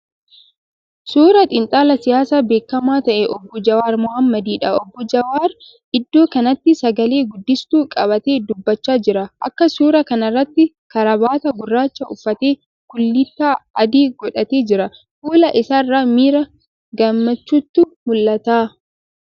Suuraa xiinxalaa siyaasaa beekamaa ta'e obbo Jawaar Mohaammadiidha. Obbo Jawaar iddoo kanatti sagalee guddistuu qabatee dubbachaa jira. Akka suuraa kana irraatti karaabaataa gurraacha uffatee kullittaa adii godhatee jira. Fuula isaa irraa miira gammachuutu mul'ata.